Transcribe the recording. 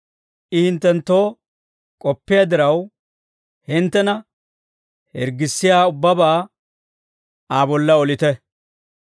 I hinttenttoo k'oppiyaa diraw, hinttena hirggissiyaa ubbabaa Aa bolla olite.